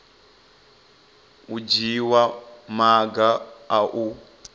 u dzhiwa maga a u